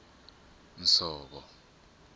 nsovo